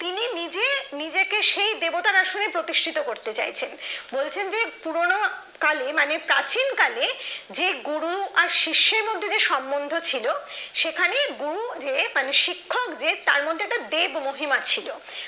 প্রথমে প্রতিষ্ঠিত করতে চাইছেন বলছেন যে পুরনো কালে মানে প্রাচীনকালে যে গুরু শিষ্যের মধ্যে যে সম্পর্ক ছিল সেখানে গুরু যে মানে শিক্ষক যে তার মধ্যে একটা দেব মহিমা ছিল